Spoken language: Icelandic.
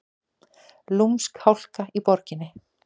Lúmsk hálka í borginni